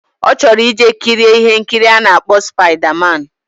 Ochoro ije kiri ihe nkiri ana akpo spider man